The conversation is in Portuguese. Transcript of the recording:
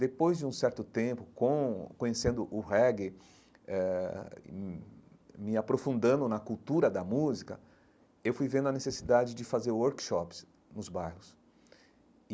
Depois de um certo tempo com conhecendo o reggae, eh me aprofundando na cultura da música, eu fui vendo a necessidade de fazer workshops nos bairros e.